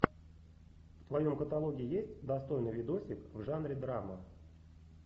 в твоем каталоге есть достойный видосик в жанре драма